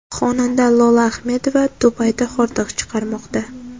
Xonanda Lola Ahmedova Dubayda hordiq chiqarmoqda.